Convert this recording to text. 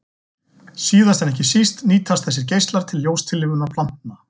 Síðast en ekki síst nýtast þessir geislar til ljóstillífunar plantna.